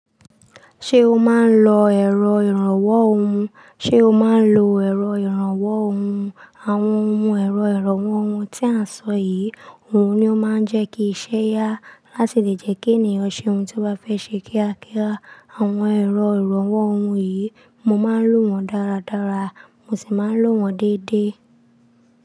Ṣé o máa ń lo ẹ̀rọ ìrànwọ́ ohun? Ṣé o máa ń lo ẹ̀rọ ìrànwọ́ ohun? Àwọn ohun ẹ̀rọ ìrànwọ́ ohun tí a ń sọ yìí, òun ni ó máa ń jẹ́ kí i ṣe yá láti lè jẹ́ kí ènìyàn ṣe ohun tí ó bá fẹ́ ṣe kíákíá. Àwọn ẹ̀rọ ìrànwọ́ ohun yìí, mo máa ń lò wọ́n dáradára, mo sì máa ń lò wọ́n dédé.